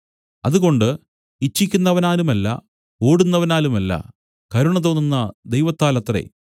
അതുകൊണ്ട് ഇച്ഛിക്കുന്നവനാലുമല്ല ഓടുന്നവനാലുമല്ല കരുണ തോന്നുന്ന ദൈവത്താലത്രെ